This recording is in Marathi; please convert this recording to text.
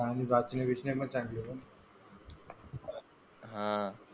, हा.